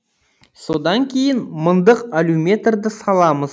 содан кейін мыңдық алюметрді саламыз